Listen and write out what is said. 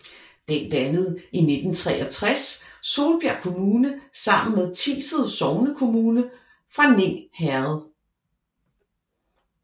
Den dannede i 1963 Solbjerg Kommune sammen med Tiset sognekommune fra Ning Herred